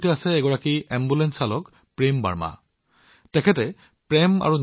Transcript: মোৰ লগত এনে এজন ভদ্ৰলোক আছে শ্ৰীযুত প্ৰেম বাৰ্মাজী যি এজন এম্বুলেন্স চালক তেওঁৰ নাম অনুসৰি